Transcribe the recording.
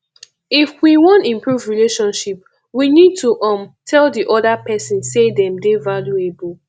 if we wan improve relationship we need to um tell di oda person sey dem dey valuable